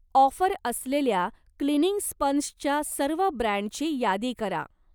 Offer असलेल्या cleaning स्पंजच्या सर्व ब्रँडची यादी करा.